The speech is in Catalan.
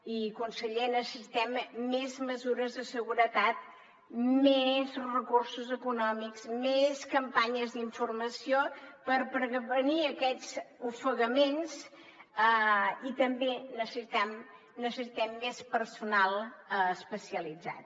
i conseller necessitem més mesures de seguretat més recursos econòmics més campanyes d’informació per prevenir aquests ofegaments i també necessitem més personal especialitzat